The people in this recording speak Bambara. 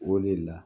O le la